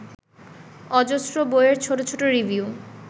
অজস্র বইয়ের ছোট ছোট রিভিউ